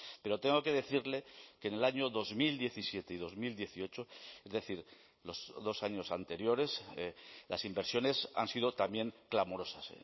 pero tengo que decirle que en el año dos mil diecisiete y dos mil dieciocho es decir los dos años anteriores las inversiones han sido también clamorosas